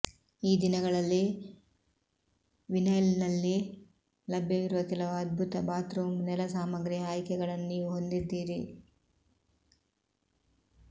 ಈ ದಿನಗಳಲ್ಲಿ ವಿನೈಲ್ನಲ್ಲಿ ಲಭ್ಯವಿರುವ ಕೆಲವು ಅದ್ಭುತ ಬಾತ್ರೂಮ್ ನೆಲ ಸಾಮಗ್ರಿಯ ಆಯ್ಕೆಗಳನ್ನು ನೀವು ಹೊಂದಿದ್ದೀರಿ